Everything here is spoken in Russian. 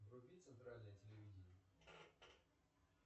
вруби центральное телевидение